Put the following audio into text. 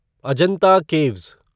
Ajanta caves